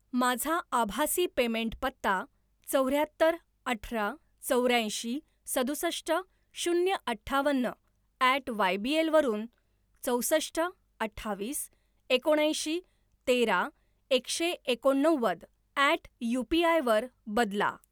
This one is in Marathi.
माझा आभासी पेमेंट पत्ता चौऱ्याहत्तर अठरा चौऱ्याऐंशी सदुसष्ट शून्य अठ्ठावन्न ॲट वायबीएल वरून चौसष्ट अठ्ठावीस एकोणऐंशी तेरा एकशे एकोणनव्वद ॲट यूपीआय वर बदला